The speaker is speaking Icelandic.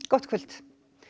gott kvöld